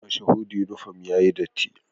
Mashahudu uniform yayi datti